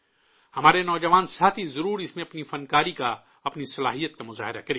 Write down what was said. ہمارے نوجوان ساتھی ضرور اس میں اپنے فن کا، اپنی صلاحیت کا مظاہرہ کریں